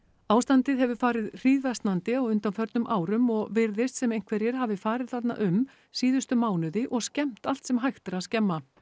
ástandið hefur farið hríðversnandi á undanförnum árum og virðist sem einhverjir hafi farið þarna um síðustu mánuði og skemmt allt sem hægt er að skemma